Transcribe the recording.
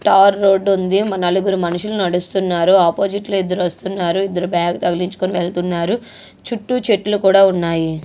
తారు road ఉంది.నలుగురు మనుషులు నడుస్తున్నారు.అపోజిట్ లో ఇద్దరు వస్తున్నారు.ఇద్దరు బాగ్ తగిలించుకొని వెళ్తున్నారు. చుట్టూ చెట్లు కూడా ఉన్నాయి.